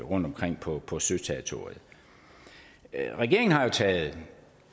rundtomkring på på søterritoriet regeringen har jo taget